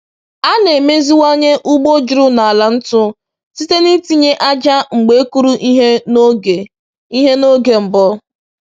“A na-emeziwanye ugbo juru na ala ntu site n’itinye ájá mgbe e kụrụ ihe n’oge ihe n’oge mbụ.”